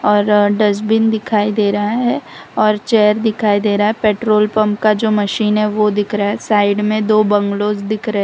और डस्टबिन दिखाई दे रहा है और चेयर दिखाई दे रहा है पेट्रोल पंप पेट्रोल पंप का जो मशीन है वो दिख रहा है साइड में दो बांग्लोज़ दिख रहे--